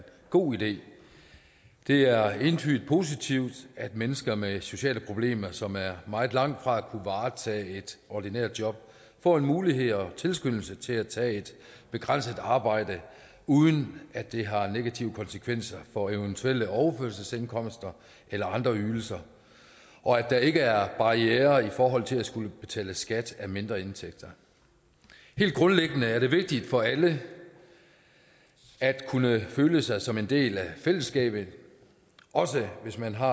god idé det er entydigt positivt at mennesker med sociale problemer som er meget langt fra at kunne varetage et ordinært job får en mulighed og en tilskyndelse til at tage et begrænset arbejde uden at det har negative konsekvenser for eventuelle overførselsindkomster eller andre ydelser og at der ikke er barrierer i forhold til at skulle betale skat af mindre indtægter helt grundlæggende er det vigtigt for alle at kunne føle sig som en del af fællesskabet også hvis man har